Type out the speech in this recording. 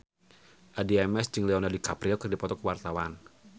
Addie MS jeung Leonardo DiCaprio keur dipoto ku wartawan